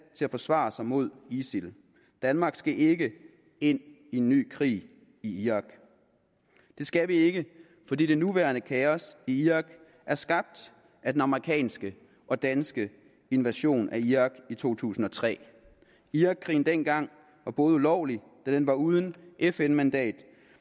til at forsvare sig mod isil danmark skal ikke ind i en ny krig i irak det skal vi ikke fordi det nuværende kaos i irak er skabt af den amerikanske og danske invasion af irak i to tusind og tre irakkrigen dengang var ulovlig da den var uden fn mandat